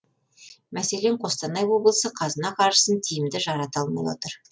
мәселен қостанай облысы қазына қаржысын тиімді жарата алмай отыр